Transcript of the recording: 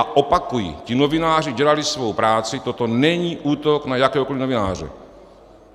A opakuji, ti novináři dělali svou práci, toto není útok na jakéhokoliv novináře.